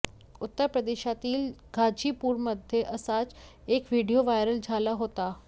उत्तर प्रदेशातील गाझीपूरमध्ये असाच एक व्हिडीओ व्हायरल झाला होता